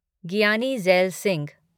Giani Zail Singh